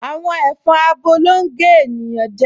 Àwọn ẹ̀fọn abo ló ń gé ènìyàn jẹ